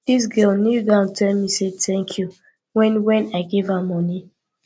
dis girl kneeldown tell me tank you wen wen i give am moni